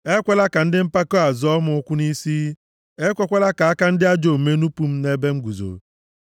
Ekwela ka ndị mpako a zọọ m ụkwụ nʼisi, ekwekwala ka aka ndị ajọ omume nupu m nʼebe m guzo.